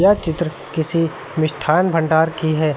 यह चित्र किसी मिष्ठान भंडार की है।